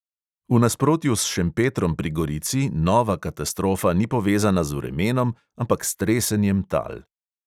V nasprotju s šempetrom pri gorici nova katastrofa ni povezana z vremenom, ampak s tresenjem tal.